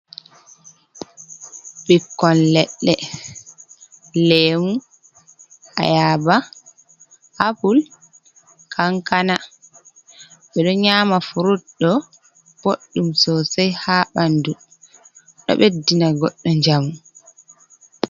Ɓikkon leɗɗe leemu, ayaba, apule, kankana, ɓeɗo nyama frud ɗo boɗdum sosai ha ɓandu ɗo ɓeddina goɗɗo njamu.